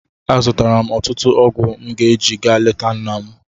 Azụtara m ọtụtụ ọgwụ m ga-eji ga leta nna m.